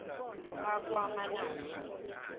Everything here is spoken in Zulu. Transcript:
bakwamanaso